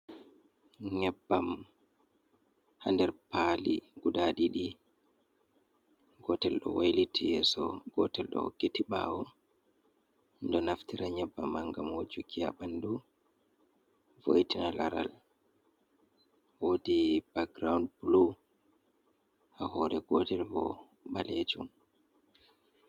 Nyebbam ha nder paali guda ɗiɗi, gotel ɗo wailiti yeso gotel ɗo hokkiti ɓawo, ɗo naftira nyabbam man ngam hojuki ha ɓandu vo'itina lara wodi bak giroun bulu, ha hore gotel bo balejum.